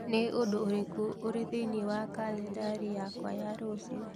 Nĩ ũndũ ũrĩkũ ũrĩ thĩinĩ wa kalendarĩ yakwa ya rũciũ